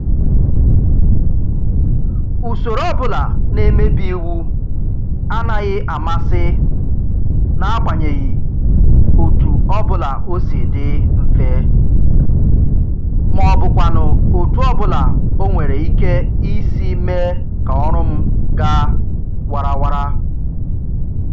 Usoro ọbụla na-emebi iwu anaghị amasị n'agbanyeghị otu ọbụla o si dị mfe, maọbụkwanụ otu ọbụla o nwere ike isi mee ka ọrụ m ga warawara